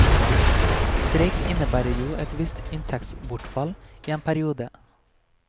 Streik innebærer jo et visst inntektsbortfall i en periode.